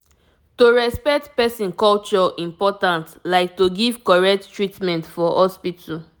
to respect person culture important like to give correct treatment for hospital